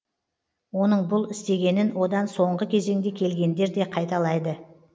оның бұл істегенін одан соңғы кезеңде келгендер де қайталайды